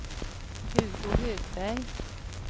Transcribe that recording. Hugo Högberg